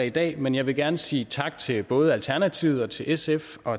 i dag men jeg vil gerne sige tak til både alternativet og til sf og